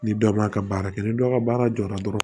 Ni dɔ ma ka baara kɛ ni dɔ ka baara jɔra dɔrɔn